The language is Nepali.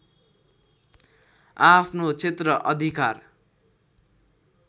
आआफ्नो क्षेत्र अधिकार